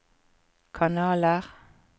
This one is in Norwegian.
kanaler